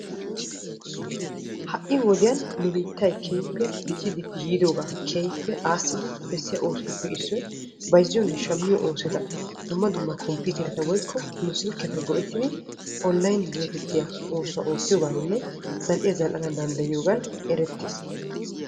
Ha'i wodiyan nu biittay dicci dicci yiidoga bessiya oosotupp issoy dumma dumma carkkuwan zal'iya zal'anna danddayiyooga gidiyooge ereetees.